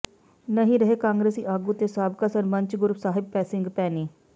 ਨਹੀਂ ਰਹੇ ਕਾਂਗਰਸੀ ਆਗੂ ਤੇ ਸਾਬਕਾ ਸਰਪੰਚ ਗੁਰਸਾਹਿਬ ਸਿੰਘ ਭੈਣੀ